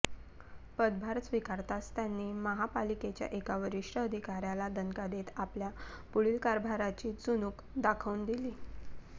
पदभार स्वीकारताच त्यांनी महापालिकेच्या एका वरीष्ठ अधिकाऱ्याला दणका देत आपल्या पुढील कारभाराची चुणूक दाखवून दिली